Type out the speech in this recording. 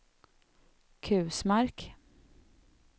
Kusmark